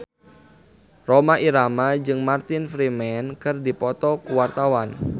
Rhoma Irama jeung Martin Freeman keur dipoto ku wartawan